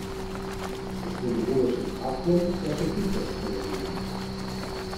Z gospodom Urošem Haklom sva se hitro sporazumela.